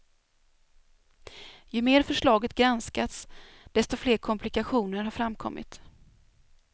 Ju mer förslaget granskats, desto fler komplikationer har framkommit.